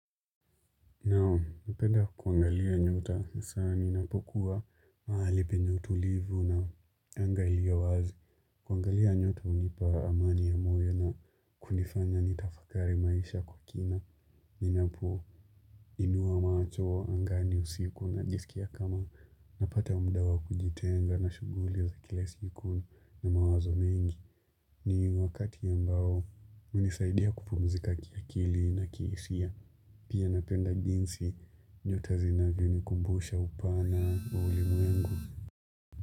Nam, napenda kuangalia nyota, sana ninapokuwa mahali penye utulivu na anga iko wazi. Kuangalia nyota hunipa amani ya moyo na kunifanya nitafakari maisha kwa kina. Ninapo inua macho angani usiku najisikia kama napata muda wa kujitenga na shughuli uzakilesi yukono na mawazo mengi. Ni wakatiambao, hunisaidia kupumzika kiakili na kiisia. Pia napenda jinsi nyota zinavyonikumbusha upana wa ulimwengu.